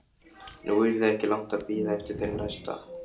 Nú yrði ekki langt að bíða eftir þeim næsta.